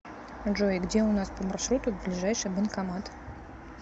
джой где у нас по маршруту ближайший банкомат